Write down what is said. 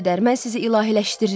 Mən sizi ilahiləşdirirdim.